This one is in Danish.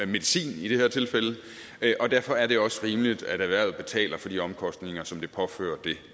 medicin i det her tilfælde og derfor er det også rimeligt at erhvervet betaler de omkostninger som det påfører det